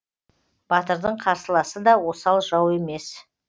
батырдың қарсыласы да осал жау емес